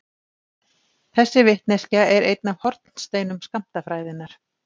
Þessi vitneskja er einn af hornsteinum skammtafræðinnar.